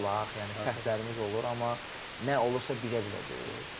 yəni səhvlərimiz olur, amma nə olursa bilə-bilə deyil.